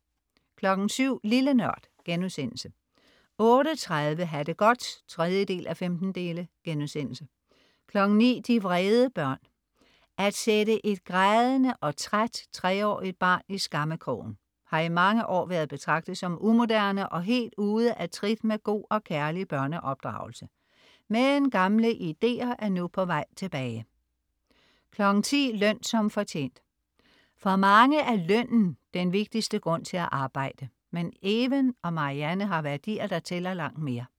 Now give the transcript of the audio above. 07.00 Lille NØRD* 08.30 Ha' det godt 3:15* 09.00 De vrede børn. At sætte et grædende og træt treårigt barn i skammekrogen har i mange år været betragtet som umoderne og helt ude af trit med god og kærlig børneopdragelse, men gamle ideer er nu på vej tilbage 10.00 Løn som fortjent. For mange er lønnen den vigtigste grund til at arbejde, men Even og Marianne har værdier, der tæller langt mere